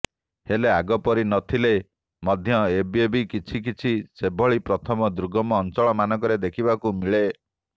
ହେଲେ ଆଗପରି ନଥିଲେ ମଧ୍ୟ ଏବେବି କିଛିକିଛି ସେଭଳି ପ୍ରଥା ଦୁର୍ଗମ ଅଞ୍ଚଳମାନଙ୍କରେ ଦେଖିବାକୁ ମିଳେ